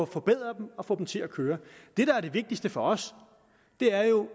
forbedret og få dem til at køre det der er det vigtigste for os er jo